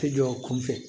Ti jɔ o kun fɛ